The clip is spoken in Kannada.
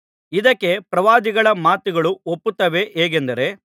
ಇದಕ್ಕೆ ಪ್ರವಾದಿಗಳ ಮಾತುಗಳೂ ಒಪ್ಪುತ್ತವೆ ಹೇಗೆಂದರೆ